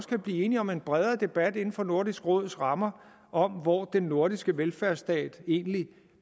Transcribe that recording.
kan blive enige om en bredere debat inden for nordisk råds rammer om hvor den nordiske velfærdsstat egentlig